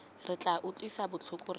tla re utlwisang botlhoko re